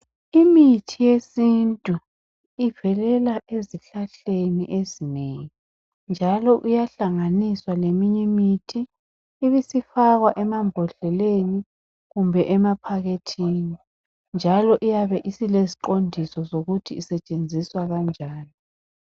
Imithi yesintu ivelela ezihlahleni ezinengi .Njalo iyahlanganiswa leminyimithi ibisifakwa emambodleleni. Kumbe emaphakethini ,njalo iyabe isileziqondiso zokuthi isetshenziswa kanjani.